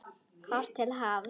Horft til hafs.